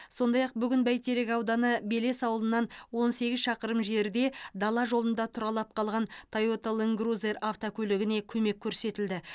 сондай ақ бүгін бәйтерек ауданы белес ауылынан он сегіз шақырым жерде дала жолында тұралап қалған тойота ланд крузер автокөлігіне көмек көрсетілді